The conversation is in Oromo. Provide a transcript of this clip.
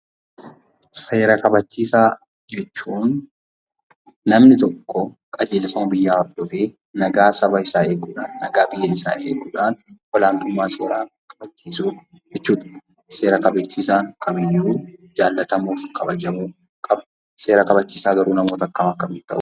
Seera kabachiisaa jechuun namni tokko qajeelfama biyyaa hordofee nagaa saba isaa eeguudhaan, nagaa biyya isaa eeguudhaan olaantummaa seeraa kabachiisuu jechuudha. Seera kabachiisaan kamiiyyuu jaallatamuu fi kabajamuu qaba. Seera kabachiisaa garuu namoota akkam akkamiitu ta'uu danda'a?